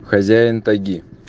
хозяин тайги